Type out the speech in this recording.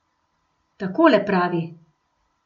Takole pravi.